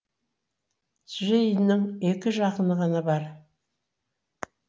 джейннің екі жақыны ғана бар